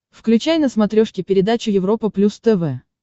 включай на смотрешке передачу европа плюс тв